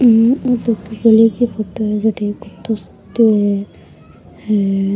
हम्म ओ तो गली की फोटो है जटे एक कुतो सुतो है हेर --